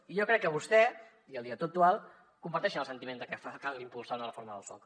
i jo crec que vostè i el director actual comparteixen el sentiment de que cal impulsar una reforma del soc